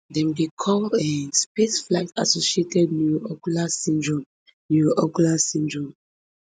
dem dey call um spaceflight associated neuroocular syndrome neuroocular syndrome